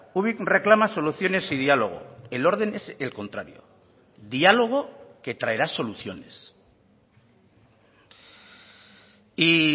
ubik reclama soluciones y diálogo el orden es el contrario diálogo que traerá soluciones y